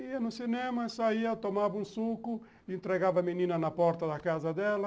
Ia no cinema, saía, tomava um suco, entregava a menina na porta da casa dela.